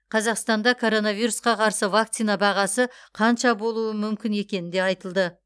қазақстанда коронавирусқа қарсы вакцина бағасы қанша болуы мүмкін екені де айтылды